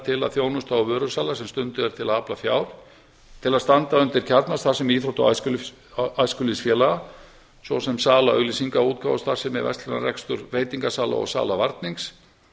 að þjónusta og vörusala sem stunduð er til að afla fjár til að standa undir kjarnastarfsemi íþrótta og æskulýðsfélaga svo sem sala auglýsingaútgáfa starfsemi verslunarrekstur veitingasala og sala varnings